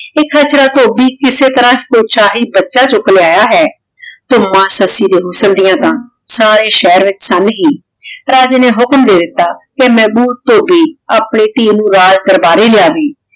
ਵੀ ਧੋਭੀ ਕਿਸੇ ਤਰਹ ਕੋਈ ਸ਼ਾਹੀ ਬਚਾ ਚੂਕ ਲਯਾਯਾ ਹੈ ਤੇ ਮਾਂ ਸੱਸੀ ਦੇ ਹੁਸਨ ਡਿਯਨ ਤਾਂ ਸਾਰੇ ਸ਼ੇਹਰ ਵਿਚ ਸਮ ਹੀ। ਰਾਜੇ ਨੇ ਹੁਕਮ੍ਡੇ ਦਿਤਾ ਕੇ ਮੇਹਬੂਬ ਧੋਭੀ ਆਪਣੀ ਧੀ ਨੂ ਰਾਜ ਦਰਬਾਰੀ ਲੇ ਅਵੇ